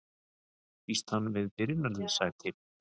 Býst hann við byrjunarliðssæti?